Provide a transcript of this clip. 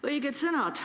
Õiged sõnad.